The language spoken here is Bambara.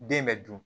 Den bɛ dun